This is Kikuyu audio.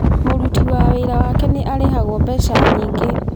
Mũruti wĩra wake nĩ arĩhagwo mbeca nyingĩ.